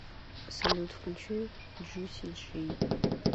салют включи джуси джей